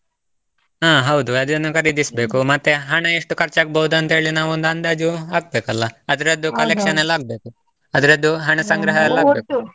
ಹಾ ಹೌದು ಅದನ್ನು ಖರೀದಿಸ್ಬೇಕು, ಮತ್ತೆ ಹಣ ಎಷ್ಟು ಖರ್ಚಾಗ್ಬೋದು ಅಂತ್ಹೇಳಿ ನಾವೊಂದು ಅಂದಾಜು ಹಾಕ್ಬೇಕಲ್ಲ, ಅದರದ್ದು collection ಎಲ್ಲ ಆಗ್ಬೇಕು, ಅದರದ್ದು ಹಣ ಸಂಗ್ರಹ ಎಲ್ಲ.